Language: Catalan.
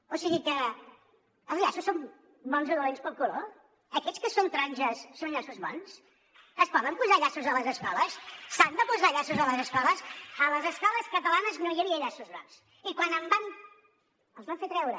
o sigui que els llaços són bons o dolents pel color aquests que són taronges són llaços bons es poden posar llaços a les escoles s’han de posar llaços a les escoles a les escoles catalanes no hi havia llaços grocs i quan n’hi van haver els vam fer treure